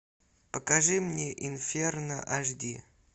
покажи мне инферно аш ди